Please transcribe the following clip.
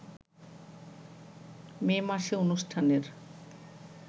মে মাসে অনুষ্ঠানের